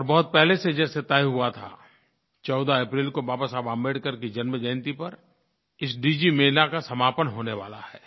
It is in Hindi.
और बहुत पहले से जैसे तय हुआ था 14 अप्रैल को बाबा साहेब अम्बेडकर की जन्मजयंती पर इस डिजिमेला का समापन होने वाला है